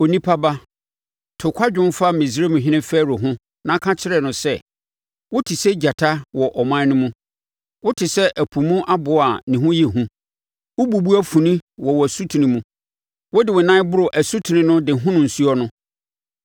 “Onipa ba, to kwadwom fa Misraimhene Farao ho na ka kyerɛ no sɛ: “ ‘Wote sɛ gyata wɔ aman no mu: wote sɛ ɛpo mu aboa a ne ho yɛ hu wobubu afuni wɔ wo asutene mu, wode wo nan boro asutene no de hono nsuo no.